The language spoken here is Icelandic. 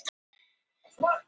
sagði Ína óþolinmóð.